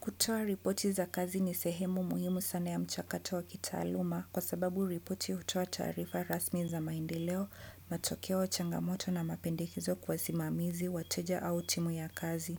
Kutoa ripoti za kazi ni sehemu muhimu sana ya mchakato wa kitaaluma kwa sababu ripoti hutoa taarifa rasmi za maendeleo, matokeo changamoto na mapendekezo kwa wasimamizi, wateja au timu ya kazi.